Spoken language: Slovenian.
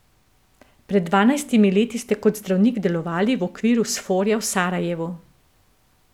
Pred dvanajstimi leti ste kot zdravnik delovali v okviru Sforja v Sarajevu.